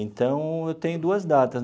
Então, eu tenho duas datas.